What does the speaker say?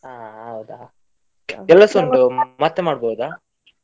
ಹಾ ಹೌದಾ, ಕೆಲಸ ಉಂಟು, ಮತ್ತೆ ಮಾಡ್ಬಹುದಾ.